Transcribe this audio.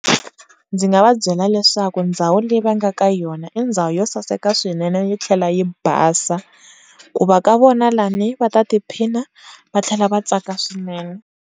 Ndzi nga va byela leswaku ndhawu le yi va nga ka yona i ndhawu yo saseka swinene yo tlhela yi basa ku va ka vona lani va ta tiphina va tlhela va tsaka swinene.